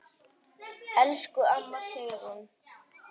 Elsku amma Sigrún.